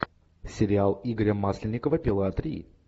сериал игоря масленникова пила три